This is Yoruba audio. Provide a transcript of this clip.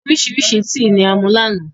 Oríṣiríṣi tíì ní a mu láánà